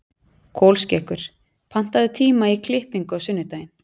Kolskeggur, pantaðu tíma í klippingu á sunnudaginn.